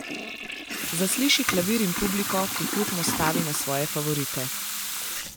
Zasliši klavir in publiko, ki hrupno stavi na svoje favorite.